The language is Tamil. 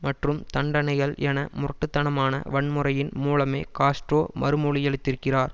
மற்றும் தண்டனைகள் என முரட்டு தனமான வன்முறையின் மூலமே காஸ்ட்ரோ மறுமொழியளித்திருக்கிறார்